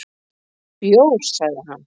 """Bjór, sagði hann."""